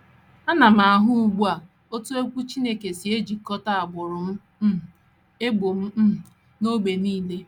Ana m ahụ ugbu a otú Okwu Chineke si ejikọta agbụrụ um, ebo um, na ógbè nile.